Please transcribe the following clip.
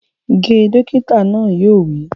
Ge! Dókítà náà yóò wí